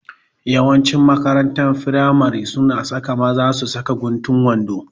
Yawanci makarantar firamare suna sa maza su saka guntun wando